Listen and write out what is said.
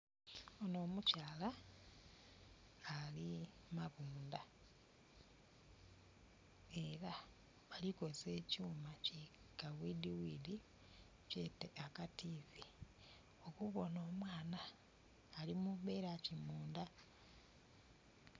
Ono omukyala ali mabundha era bali ku kozesa ekyuma ki kabwidhibwidhi kyete akativi okubona omwaana ali mubera ki mundha.